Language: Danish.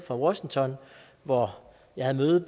washington hvor jeg havde